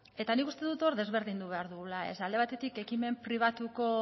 eta nik uste dut hor desberdindu behar dugula alde batetik ekimen pribatuko